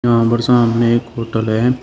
और सामने एक होटल है।